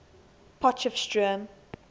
potchefstroom